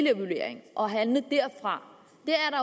og handle derfra